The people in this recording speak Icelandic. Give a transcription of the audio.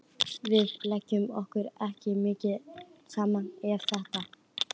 Við lékum okkur ekki mikið saman eftir þetta.